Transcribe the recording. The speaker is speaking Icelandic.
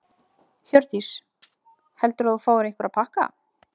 Hjördís: Heldurðu að þú fáir einhverja pakka?